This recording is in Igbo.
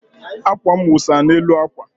akwa m wụsa n'elu akwa